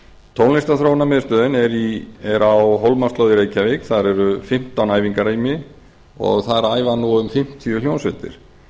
tónlistarþróunarmiðstöðin er á hólmaslóð í reykjavík þar eru fimmtán æfingarými og þar æfa nú um fimmtíu hljómsveitir